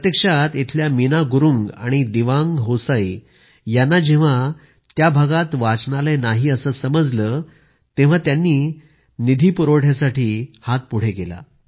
प्रत्यक्षात इथल्या मीना गुरूंग आणि दिवांग होसाई यांना जेव्हा त्या भागात वाचनालय नाही असं समजलं तेव्हा त्यांनी त्याच्या निधीपुरवठ्यासाठी हात पुढे केला